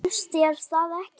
Finnst þér það ekki?